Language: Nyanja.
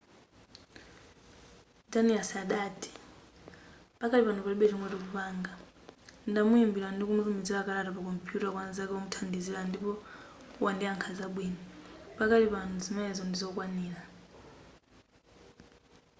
danius adati pakali pano palibe chomwe tikupanga ndamuimbira ndi kutumiza makalata pa kompuyuta kwa nzake womuthandizira ndipo wandiyakha zabwino pakali pano zimenezo ndizokwanira